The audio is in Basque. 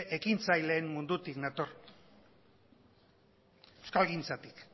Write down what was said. ekintzaileen mundutik nator euskalgintzatik